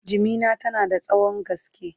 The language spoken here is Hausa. jimina tana da tsawon gaske